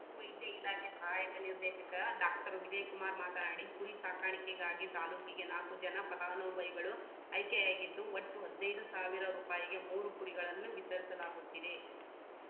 ವೈದ್ಯ ಇಲಾಖೆ ಸಹಾಯಕ ನಿರ್ದೇಶಕ ಡಾಕ್ಟರ್ ವಿಜಯಕುಮಾರ್‌ ಮಾತನಾಡಿ ಕುರಿ ಸಾಕಾಣಿಕೆಗಾಗಿ ತಾಲೂಕಿಗೆ ನಾಲ್ಕು ಜನ ಫಲಾನುಭವಿಗಳು ಆಯ್ಕೆಯಾಗಿದ್ದು ಒಟ್ಟು ಹದಿನೈದು ಸಾವಿರ ರುಪಾಯಿಗೆ ಮೂರು ಕುರಿಗಳನ್ನು ವಿತರಿಸಲಾಗುತ್ತಿದೆ